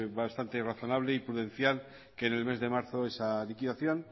bastante razonable y prudencial que en el mes de marzo